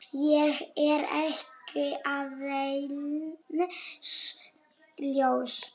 Ég er ekki aðeins ljón.